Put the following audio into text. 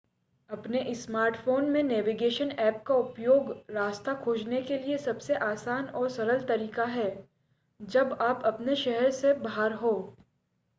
अपने स्मार्टफोन में navigation app का उपयोग रास्ता खोजने के लिए सबसे आसान और सरल तरीका है जब आप अपने शहर से बाहर हों